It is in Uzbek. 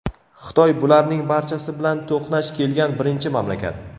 Xitoy bularning barchasi bilan to‘qnash kelgan birinchi mamlakat.